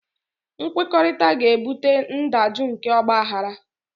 Nkwekọrịta ga-ebute ndajụ nke ọgbaghara